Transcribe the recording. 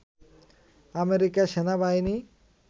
আমেরিকার সেনাবাহিনী